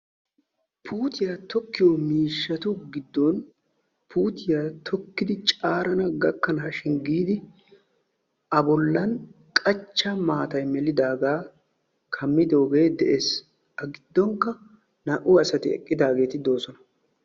Puutiya tokkiyo miishshatu giddon puutiya tokkidi caarana gakkanaashin giidi A bollan qachcha maatay melidaagaa kammidoogee de'ees. A giddonkka naa"u asati eqqidaageeti de'oosona.